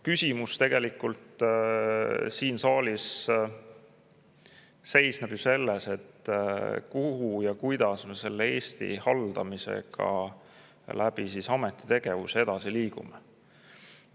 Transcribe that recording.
Küsimus siin saalis seisneb tegelikult selles, kuhu ja kuidas me Eesti haldamisega ameti tegevuse kaudu edasi liigume.